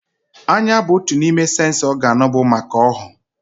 Anya bu otu n'ime séns ọgán bu maka ọhụụ